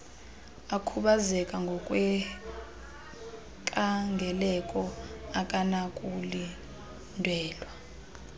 okhubazeke ngokwenkangeleko akanakulindelwa